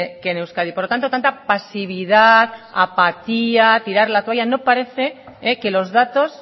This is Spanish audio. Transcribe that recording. que en euskadi por lo tanto tanta pasividad apatía tirar la toalla no parece que los datos